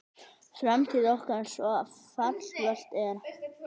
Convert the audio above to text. Framtíð okkar svo fallvölt er.